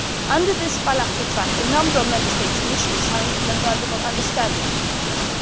Under this bilateral track, a number of Member States initially signed a memorandum of understanding with the US.